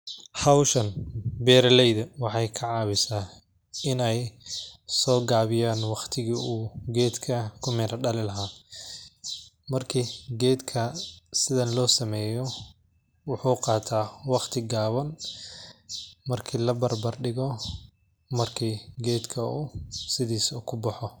Howshan bera leyda waxay kacawisa inay sogabiyan waqtiga u gedka kumiri dalini lahay, marki gedka sidhan lo sameya wuxu qata waqti gaban marki labarbar digu marki gedka sidhisa kubaxa.